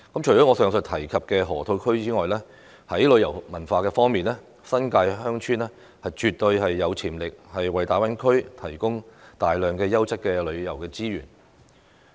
除了我上述提及的河套區外，在旅遊和文化方面，新界鄉村絕對有潛力為大灣區提供大量優質的旅遊資源。